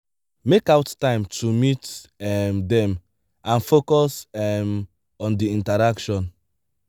make out time to meet um them and focus um on di interaction